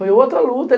Foi outra luta.